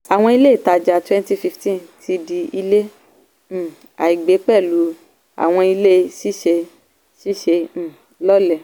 àwọn ilé ìtajà 2015 ti di ilé um àìgbé pẹ̀lú àwọn ilé síse síse um lọ́lẹ̀.